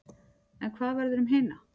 En hvað verður um hina?